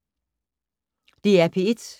DR P1